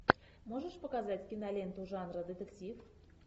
можешь показать киноленту жанра детектив